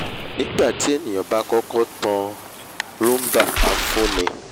nígbà tí èèyàn bá kọ́kọ́ tàn án roomba á fúnni